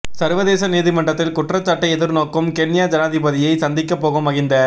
சர்வதேச நீதிமன்றத்தில் குற்றச்சாட்டை எதிர்நோக்கும் கென்யா ஜனாதிபதியை சந்திக்க போகும் மகிந்த